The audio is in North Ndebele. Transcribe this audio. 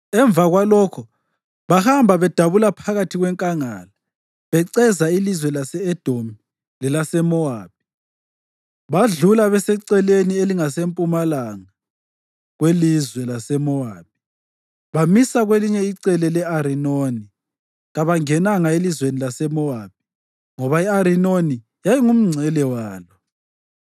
Emva kwalokho bahamba bedabula phakathi kwenkangala, beceza ilizwe lase-Edomi lelaseMowabi, badlula beseceleni elingasempumalanga kwelizwe laseMowabi, bamisa ngakwelinye icele le-Arinoni. Kabangenanga elizweni laseMowabi, ngoba i-Arinoni yayingumngcele walo.